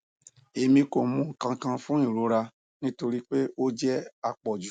emi ko mu nkankan fun irora nitori pe o jẹ apọju